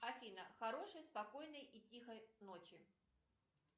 афина хорошей спокойной и тихой ночи